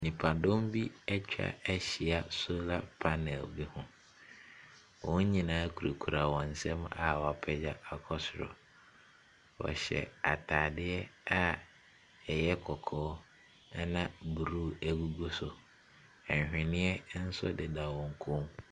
Nipadɔm bi ɛtwa ɛhyia solar panel bi ho. Wɔn nyinaa kurekura wɔn nsam a woapegya akɔ soro. Ɔhyɛ ataadeɛ a ɛyɛ kɔkɔɔ ɛna blue egugu so. ahweneɛ ɛnso deda wɔn kɔn mu.